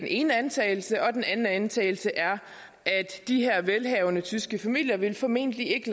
ene antagelse den anden antagelse er at de her velhavende tyske familier formentlig ikke